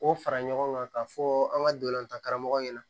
K'o fara ɲɔgɔn kan k'a fɔ an ka dolantan karamɔgɔ ɲɛna